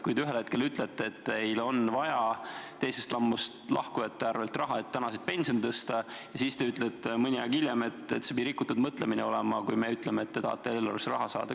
Te ühel hetkel ütlete, et teil on vaja teisest sambast lahkumisega saadavat raha, et tänaseid pensione tõsta, aga mõni aeg hiljem ütlete, et see on rikutud mõtlemine, kui me ütleme, et te tahate eelarvesse raha saada.